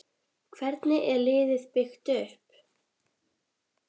Hvernig er liðið byggt upp?